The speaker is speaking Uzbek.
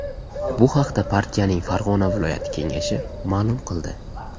Bu haqda partiyaning Farg‘ona viloyati Kengashi ma’lum qildi .